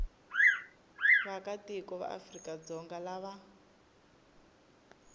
vaakatiko va afrika dzonga lava